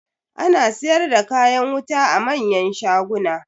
Ana siyar da kayan wuta a manyan shaguna.